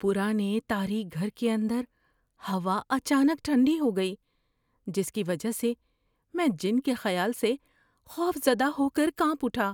پرانے تاریک گھر کے اندر ہوا اچانک ٹھنڈی ہو گئی، جس کی وجہ سے میں جِن کے خیال سے خوف زدہ ہو کر کانپ اٹھا۔